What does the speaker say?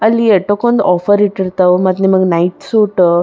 ಅಲ್ಲಿ ಏಟಕೊಂದ್ ಆಫರ್ ಇಟ್ಟಿರ್ತವ್ ಮತ್ತ್ ನಿಮ್ಮಗೆ ನೈಟ್ ಸೂಟ್ --